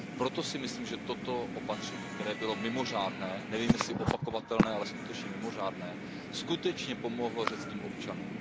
Proto si myslím, že toto opatření, které bylo mimořádné, nevím, jestli je opakovatelné, ale skutečně bylo mimořádné, opravdu pomohlo řeckým občanům.